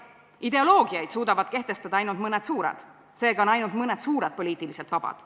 Ideoloogiaid suudavad kehtestada ainult mõned suured, seega on ainult mõned suured poliitiliselt vabad.